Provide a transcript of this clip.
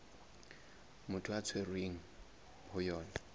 motho a tshwerweng ho yona